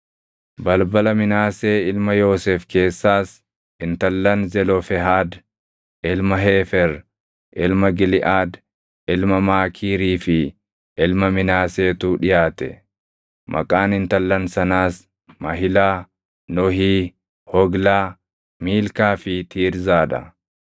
Balbala Minaasee ilma Yoosef keessaas intallan Zelofehaad ilma Heefer, ilma Giliʼaad, ilma Maakiirii fi ilma Minaaseetu dhiʼaate. Maqaan intallan sanaas Mahilaa, Nohii, Hoglaa, Miilkaa fi Tiirzaa dha.